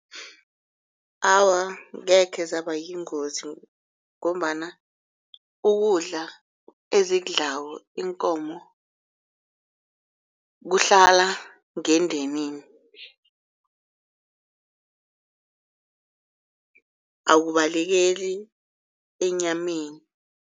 Awa, angekhe zaba yingozi ngombana ukudla ezikudlako iinkomo kuhlala ngendenini ukubalekeli enyameni.